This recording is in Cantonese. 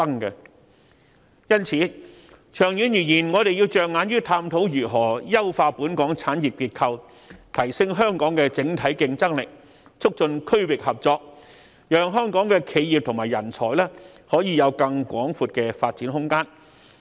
因此，長遠而言，我們要着眼於探討如何優化香港產業結構，提升香港整體競爭力，促進區域合作，讓香港企業及人才可以有更廣闊的發展空間。